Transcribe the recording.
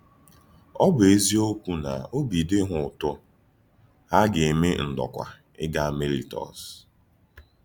Ọ̀ bụ̀ eziokwu na òbì dị hà ùtù, hà gà-eme ndòkwà ígà Màịlítọ́s.